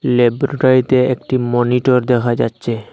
ল্যাবরেটরীতে একটি মনিটর দেখা যাচ্ছে।